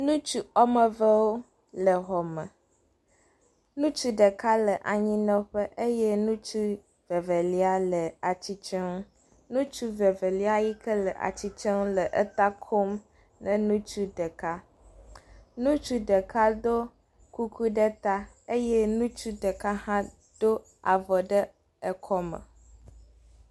Ŋutsu wɔme evewo le xɔ me. Ŋutsu ɖeka le anyinɔƒe eye ŋutsu Evelia le atsitre ŋu. Ŋutsu vevelia yi ke le eta kom ne ŋutsu ɖeka. Ŋutsu ɖeka do kuku ɖe ta eye ŋutsu ɖeka hã ɖo avɔ ɖe ekɔme.